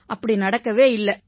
அப்படி நடக்கவே இல்லை